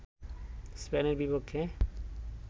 স্পেনের বিপক্ষে